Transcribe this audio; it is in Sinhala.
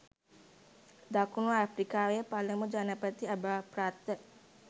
දකුණු අප්‍රිකාවේ පළමු ජනපති අභාවප්‍රාප්ත